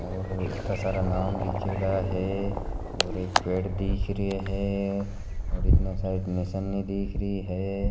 और इतना सारा नाम लीखेड़ा है और एक पेड़ दीख रेयो है और इने साईड निसणी दीखरी है।